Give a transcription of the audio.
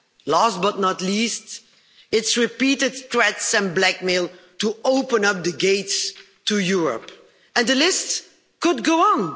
Last but not least, its repeated threats and blackmail to open up the gates to Europe. The list could go on.